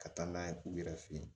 Ka taa n'a ye u yɛrɛ fe yen